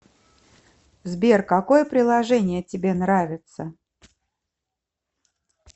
сбер какое приложение тебе нравится